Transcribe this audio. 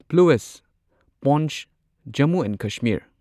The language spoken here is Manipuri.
ꯄ꯭ꯂꯨꯢꯁꯠ ꯄꯣꯟꯆ ꯖꯝꯃꯨ ꯑꯦꯟꯗ ꯀꯁꯃꯤꯔ